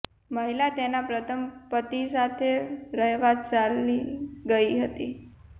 મહિલા તેના પ્રથમ પતિ સાથે રહેવા ચાલી ગઇ હતી